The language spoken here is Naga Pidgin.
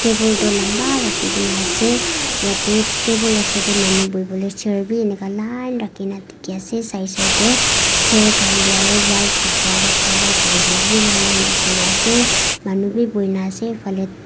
table du lamba rakhigina asey yete table osor deh manu buiboleh chair bi enika line rakina diki asey si si de chair khan deh aro white kapra wra cover kurigina wi line line rakhina asey manu bi bhuina asey--